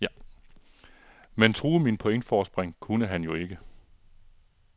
Men true mit pointforspring kunne han jo ikke.